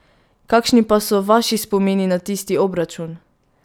Kakšni pa so vaši spomini na tisti obračun?